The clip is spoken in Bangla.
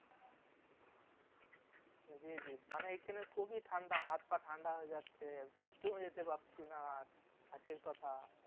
জি জি মানে এখানে খুবই ঠাণ্ডা হাত পা ঠান্ডা হয়ে যাচ্ছে বাথরুম যেতে পারছি না হাসির কথা